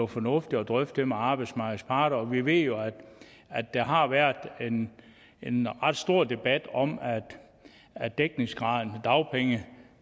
fornuftigt at drøfte det med arbejdsmarkedets parter vi ved jo at der har været en en ret stor debat om at dækningsgraden af dagpengene